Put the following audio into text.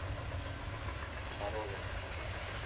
морозовск